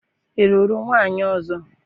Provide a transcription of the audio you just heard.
i luru nwunye ozo?